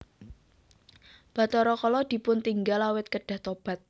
Bathara Kala dipuntinggal awit kedah tobat